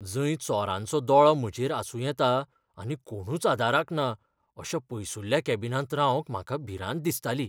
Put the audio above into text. जंय चोरांचो दोळो म्हजेर आसूं येता आनी कोणूच आदाराक ना अशा पयसुल्ल्या कॅबिनांत रावंक म्हाका भिरांत दिसताली.